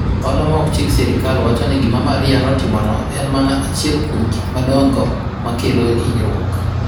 Ohala ma ok chik Sirkal wacho ni gima Maria notimono en mana achiel kuom gik madongo ma kelo hinyruok.